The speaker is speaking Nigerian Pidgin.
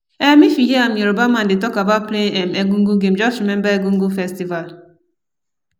um if you hear um Yoruba man dey talk about playing um egungun game, just remember egungun festival